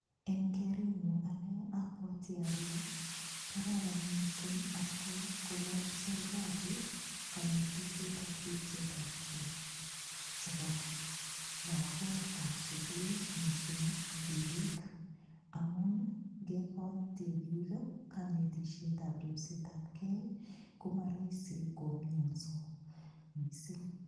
Eng kerenyu anne abwati ale, kararan mising atkai kogon sergali konetisietab ripsetabke chebo lagokab sugul mising tibik amun ngekoi tibik konetisietab ribetabkei komaraisi komianso mising.